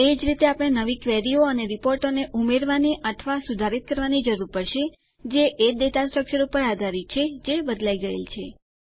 એજ રીતે આપણે નવી ક્વેરીઓ અને રીપોર્ટોને ઉમેરવાની અથવા સુધારિત કરવાની જરૂર પડશે જે એ ડેટા સ્ટ્રકચર ઉપર આધારિત છે જે બદલાય ગયેલ છે